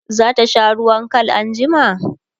zata sha ruwan Kal anjima?